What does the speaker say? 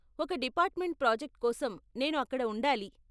ఒక department project కోసం నేను అక్కడ ఉండాలి.